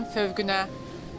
Buludların fövqünə.